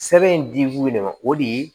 Sɛbɛn di b'u de ma o de ye